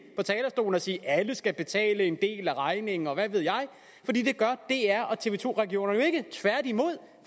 og sige at alle skal betale en del af regningen og hvad ved jeg for det gør dr og tv to regionerne jo ikke tværtimod